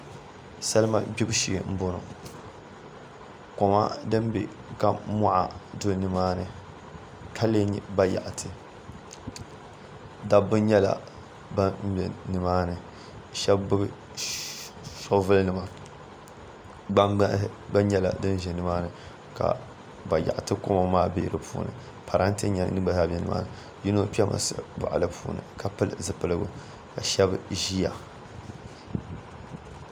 Salima gbubi shee n boŋo koma din bɛ ka moɣa do nimaani ka lee nyɛ ba yaɣati dabba nyɛla ban bɛ nimaani shab gbubi shoovul nima gbambihi gba ʒɛ nimaani ka bayaɣati koma maa bɛ di puuni parantɛ gba zaa bɛ nimaani yino kpɛ salin boɣali puuni ka pili zipiligu ka yino ʒiya